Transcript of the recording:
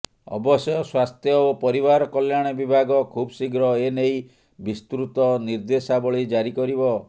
ଅବଶ୍ୟ ସ୍ୱାସ୍ଥ୍ୟ ଓ ପରିବାର କଲ୍ୟାଣ ବିଭାଗ ଖୁବଶୀଘ୍ର ଏନେଇ ବିସ୍ତୃତ ନିର୍ଦ୍ଦେଶାବଳୀ ଜାରି କରିବ